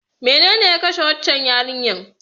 Menene ya kashe waccan yarinyar?